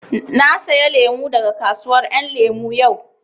Na saya lemu daga kasuwar ƴan lemu yau